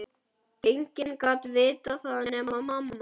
Enginn gat vitað það nema mamma.